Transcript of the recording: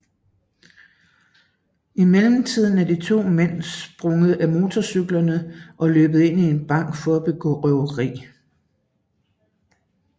I mellemtiden er de to mænd sprunget af motorcyklen og løbet ind i banken for at begå røveri